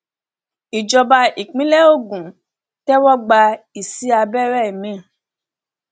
ìjọba ìpínlẹ ògún tẹwọgbá ìsì abẹrẹ mi